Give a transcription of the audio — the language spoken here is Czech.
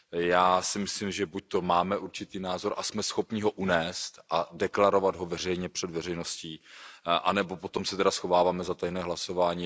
Já si myslím, že buďto máme určitý názor a jsme schopni ho unést a deklarovat ho veřejně před veřejností nebo potom se tedy schováváme za tajné hlasování.